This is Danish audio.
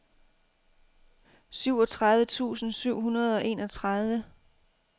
syvogtredive tusind syv hundrede og enogtredive